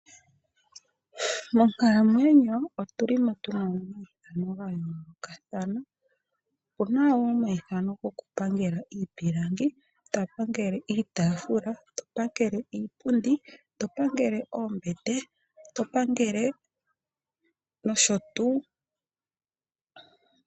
Muuyuni mbuka wopaife otu li tuna omaithano gayoolokathana mono to a dha mo nee mboka haya pangele iitaafula , iipundi, oombete nosho woo iikwawo oyindji.